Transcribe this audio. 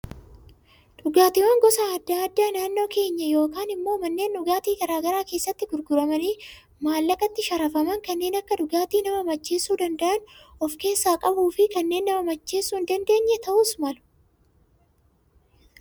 Dhugaatiiwwan gosa addaa addaa naannoo keenyaa yookaan immoo manneen dhugaatii garaagaraa keessatti gurguramanii maallaqatti sharafaman, kanneen dhugaatii nama macheessuu danda'an of keessaa qabuu fi kanneen nama macheessuu hin dandeenyes ta'uu malu.